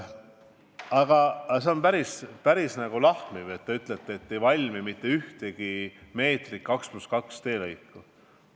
Aga see on päris lahmiv väide, kui te ütlete, et ei valmi mitte ühtegi meetrit 2 + 2 teelõiku.